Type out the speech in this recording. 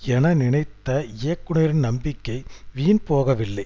என நினைத்த இயக்குனரின் நம்பிக்கை வீண் போகவில்லை